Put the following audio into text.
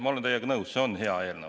Ma olen teiega nõus, see on hea eelnõu.